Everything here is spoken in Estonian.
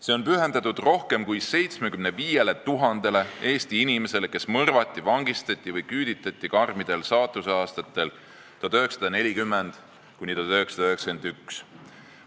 See on pühendatud rohkem kui 75 000-le Eesti inimesele, kes mõrvati, vangistati või küüditati karmidel saatuseaastatel 1940–1991.